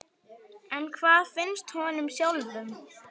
En hvað finnst honum sjálfum?